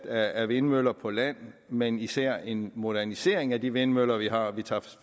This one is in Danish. af vindmøller på land men især en modernisering af de vindmøller vi har vi tager